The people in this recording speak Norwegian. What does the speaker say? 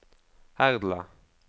Herdla